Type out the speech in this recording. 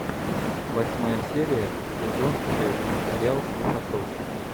восьмая серия сезон шесть сериал склифосовский